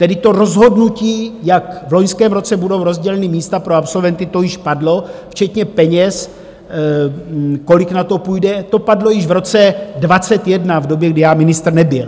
Tedy to rozhodnutí, jak v loňském roce budou rozdělena místa pro absolventy, to již padlo včetně peněz, kolik na to půjde, to padlo již v roce 2021 v době, kdy já ministr nebyl.